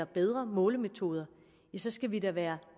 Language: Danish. bedre målemetoder skal vi da være